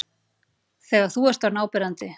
Þegar þú ert orðinn áberandi.